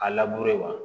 A laburu ye wa